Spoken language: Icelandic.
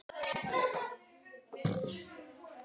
Láttu mig þekkja það.